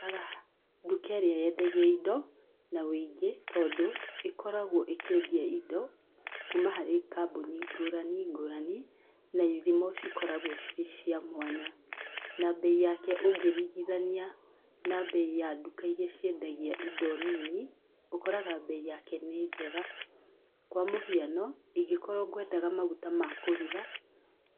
Ngũraga nduka ĩrĩa yendagia indo na wũingĩ, tondũ ĩkoragwo ĩkĩendia indo kuma harĩ kamboni ngũrani ngũrani, na ithimo cikoragwo cirĩ cia mwanya na bei yake ũngĩringithania na bei ya nduka iria ciendagia indo nini ũkoraga bei yake nĩ njega. Kwa mũhiano, ingĩkorwo kwendaga maguta ma kũruga,